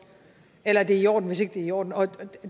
eller at det er i orden hvis ikke det er i orden og